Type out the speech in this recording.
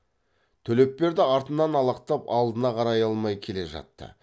төлепберді артынан алақтап алдына қарай алмай келе жатты